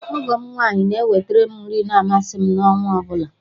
Ọgọ m nwaanyị na eweterem nri ma amasị m n'ọnwaọbụla